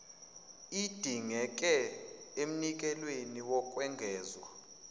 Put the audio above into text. idingeke emnikelweni wokwengezwa